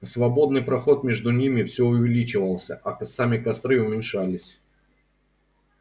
свободный проход между ними все увеличивался а сами костры уменьшались